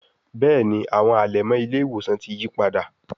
Béèni àwọn alẹmọ ile-iwosan tí yípadà.